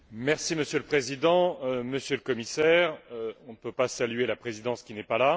Monsieur le Président, Monsieur le Commissaire, on ne peut pas saluer la Présidence, qui n'est pas là.